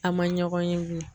A ma ɲɔgɔn ye bilen.